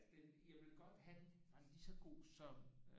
Altså jeg ville godt have at den var lige så god som